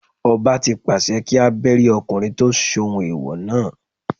Ọba tí pàṣẹ kí a Bẹ́rí ọkùnrin tí ó ṣohun ẹ̀wọ̀ náà.